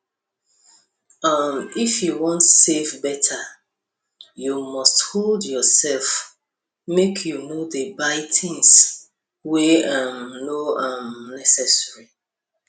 um if you wan save better you must hold yourself make you no dey buy things wey um no um necessary